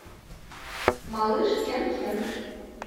малыш кенкен